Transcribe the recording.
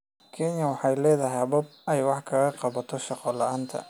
Kenya waxay leedahay habab ay wax kaga qabato shaqo la'aanta.